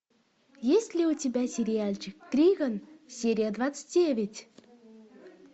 есть ли у тебя сериальчик триган серия двадцать девять